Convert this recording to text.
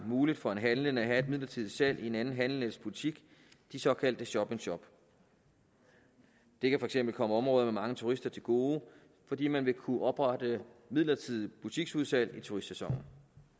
muligt for en handlende at have et midlertidigt salg i en anden handlendes butik såkaldt shop in shop det kan for eksempel komme områderne med mange turister til gode fordi man vil kunne oprette midlertidige butiksudsalg i turistsæsonen